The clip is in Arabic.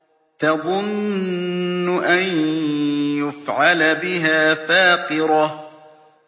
تَظُنُّ أَن يُفْعَلَ بِهَا فَاقِرَةٌ